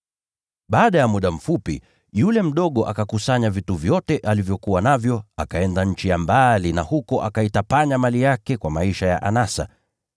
“Baada ya muda mfupi, yule mdogo akakusanya vitu vyote alivyokuwa navyo, akaenda nchi ya mbali, na huko akaitapanya mali yake kwa maisha ya anasa.